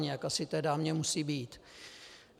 Jak asi té dámě musí být?